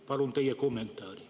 Palun teie kommentaari.